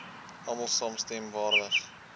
almal saamstem waardig